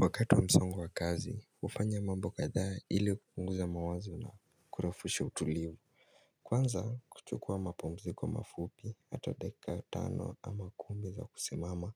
Wakati wa msongo wa kazi hufanya mambo kadha ili kupunguza mawazo na kurofusha utulivu. Kwanza kuchukua mapumziko mafupi hata dakika tano ama kumi za kusimama